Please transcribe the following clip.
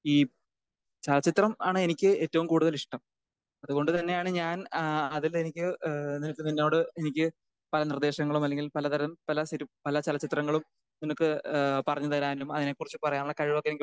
ഈ ചലച്ചിത്രം ആണ് എനിക്ക് ഏറ്റവും കൂടുതൽ ഇഷ്ടം. അത് കൊണ്ടു തന്നെയാണ് ഏഹ് ഞാൻ ആഹ് അത് എനിക്ക് ഏഹ് എനിക്ക് നിന്നോട് എനിക്ക് പല നിർദ്ദേശങ്ങളും അല്ലെങ്കിൽ പല പല തരം ഏഹ് പലചല ചിത്രങ്ങളും നിനക്ക് ഏഹ് പറഞ്ഞു തരാനും അതിനെ കുറിച്ച് പറയാനുള്ള കഴിവൊക്കെ എനിക്കുണ്ടാകണം